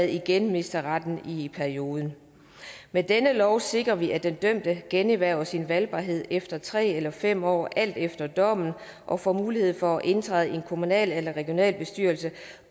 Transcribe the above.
igen mister retten i perioden med denne lov sikrer vi at den dømte generhverver sin valgbarhed efter tre eller fem år alt efter dommen og får mulighed for at indtræde i en kommunal eller regionalbestyrelse